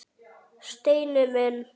Steini minn!